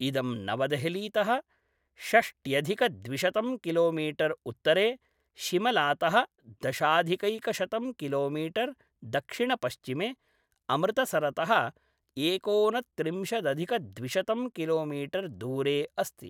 इदं नवदेहलीतः षष्ट्यधिकद्विशतं किलोमीटर् उत्तरे, शिमलातः दशाधिकैकशतं किलोमीटर् दक्षिणपश्चिमे, अमृतसरतः एकोनत्रिंशदधिकद्विशतं किलोमिटर् दूरे अस्ति